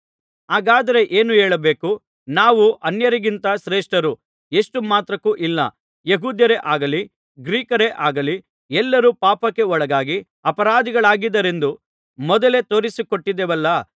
ಹಾಗಾದರೆ ಏನು ಹೇಳಬೇಕು ನಾವು ಅನ್ಯರಿಗಿಂತ ಶ್ರೇಷ್ಠರೋ ಎಷ್ಟು ಮಾತ್ರಕ್ಕೂ ಇಲ್ಲ ಯೆಹೂದ್ಯರೇ ಆಗಲಿ ಗ್ರೀಕರೇ ಆಗಲಿ ಎಲ್ಲರೂ ಪಾಪಕ್ಕೆ ಒಳಗಾಗಿ ಅಪರಾಧಿಗಳಾಗಿದ್ದಾರೆಂದು ಮೊದಲೇ ತೋರಿಸಿಕೊಟ್ಟಿದ್ದೇವಲ್ಲಾ